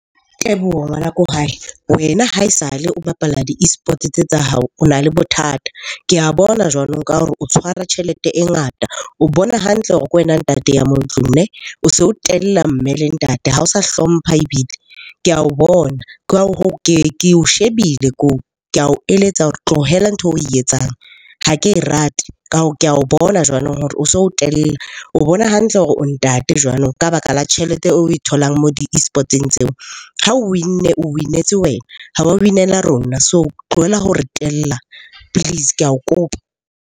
Teboho ngwana ko hae, wena ha esale o bapala di-eSports tse tsa hao o na le bothata. Ke a bona jwanong ka hore o tshwara tjhelete e ngata, o bona hantle hore ke wena ntate ya mo ntlung . O se o tella mme le ntate, ha o sa hlompha ebile, ke ao bona. Ka hoo, ke o shebile ke ao eletsa hore tlohela ntho eo oe etsang ha ke e rate. Ke ao bona jwanong hore o so o tella, o bona hantle hore o ntate jwanong ka baka la tjhelete oe tholang moo di-eSports-eng tseo. Ha o win-ne o win-etse wena, ha wa win-ela rona. So tlohela ho re tella please. Ke ao kopa.